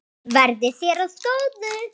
Verði þér að góðu.